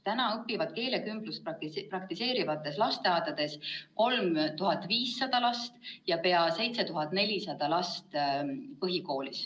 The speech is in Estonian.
Täna õpib keelekümblust praktiseerivates lasteaedades 3500 last ja põhikoolides peaaegu 7400 last.